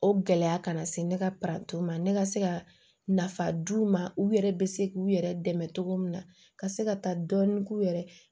O gɛlɛya kana se ne ka ma ne ka se ka nafa d'u ma u yɛrɛ bɛ se k'u yɛrɛ dɛmɛ cogo min na ka se ka taa dɔɔnin k'u yɛrɛ